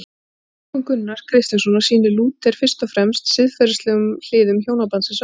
Í túlkun Gunnars Kristjánssonar sýnir Lúther fyrst og fremst siðferðilegum hliðum hjónabandsins áhuga.